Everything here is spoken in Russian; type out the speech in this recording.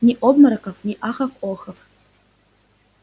ни обмороков ни ахов-охов